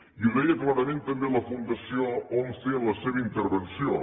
i ho deia també clarament la fundació once en la seva intervenció